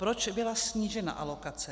Proč byla snížena alokace?